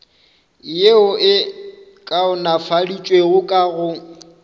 yeo e kaonafaditšwego ka go